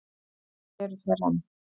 Það eru þær enn.